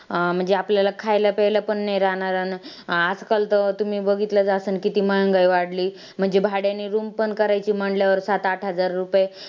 अं म्हणजे आपल्याला खायला-प्यायला पण नाही राहणार. आजकाल तर तुम्ही बघितलंच असन किती महागाई वाढली. म्हणजे भाड्याने room पण करायची म्हंटल्यावर सात-आठ हजार रुपये